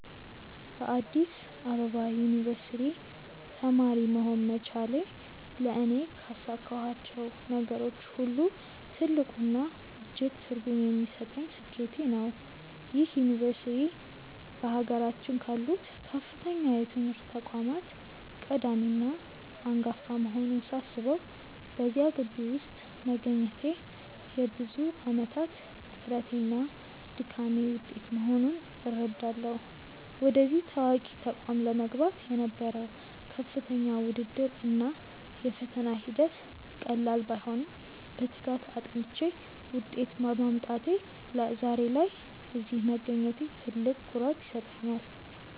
በአዲስ አበባ ዩኒቨርሲቲ (Addis Ababa University) ተማሪ መሆን መቻሌ ለእኔ ካሳካኋቸው ነገሮች ሁሉ ትልቁና እጅግ ትርጉም የሚሰጠኝ ስኬቴ ነው። ይህ ዩኒቨርሲቲ በአገራችን ካሉት ከፍተኛ የትምህርት ተቋማት ቀዳሚና አንጋፋ መሆኑን ሳስበው፣ በዚያ ግቢ ውስጥ መገኘቴ የብዙ ዓመታት ጥረቴና ድካሜ ውጤት መሆኑን እረዳለሁ። ወደዚህ ታዋቂ ተቋም ለመግባት የነበረው ከፍተኛ ውድድር እና የፈተና ሂደት ቀላል ባይሆንም፣ በትጋት አጥንቼ ውጤት በማምጣቴ ዛሬ ላይ እዚህ መገኘቴ ትልቅ ኩራት ይሰጠኛል።